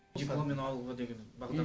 дипломмен ауылға деген бағдар